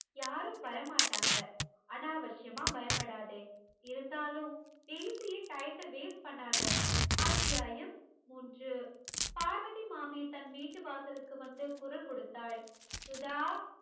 யாரும் வரமாட்டாங்க அனாவஷ்யமா பயப்படாதே இருந்தாலும் பேசியே டயத்த waste பண்ணாத அத்தியாயம் மூன்று பார்வதி மாமி தன் வீட்டு வாசலுக்கு வந்து குரல் கொடுத்தால் சுதா